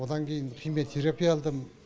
одан кейін химия терапия алдым